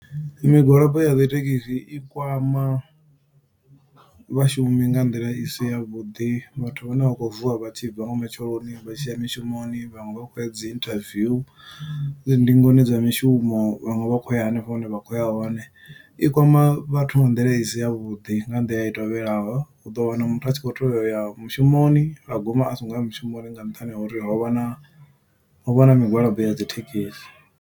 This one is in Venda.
Migwalabo ya dzithekhisi i kwama vhashumi nga nḓila isi ya vhuḓi, vhathu vhane vha khou vuwa vha tshi bva nga matsheloni. Vha tshi ya mishumoni, vhaṅwe vha khou ya dzi interview, dzi ndingoni dza mishumo, vhaṅwe vha khou ya henefho hune vha khou ya hone. I kwama vhathu nga nḓila isi ya vhuḓi, nga nḓila i tovhelaho, u ḓo wana muthu a tshi khou teya u ya mushumoni, a guma aso ngo ya mushumoni nga nṱhani ha uri ho vha na, ho vha na migwalabo ya dzithekhisi.